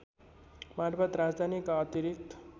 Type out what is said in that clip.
मार्फत राजधानीका अतिरिक्त